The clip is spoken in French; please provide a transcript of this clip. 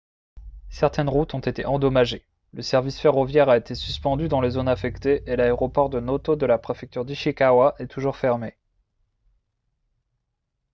certaines routes ont été endommagées le service ferroviaire a été suspendu dans les zones affectées et l'aéroport de noto de la préfecture d'ishikawa est toujours fermé